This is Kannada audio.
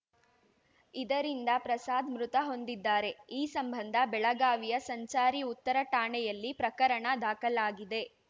ಇದರಿಂದ ಪ್ರಸಾದ್‌ ಮೃತ ಹೊಂದಿದ್ದಾರೆ ಈ ಸಂಬಂಧ ಬೆಳಗಾವಿಯ ಸಂಚಾರಿ ಉತ್ತರ ಠಾಣೆಯಲ್ಲಿ ಪ್ರಕರಣ ದಾಖಲಾಗಿದೆ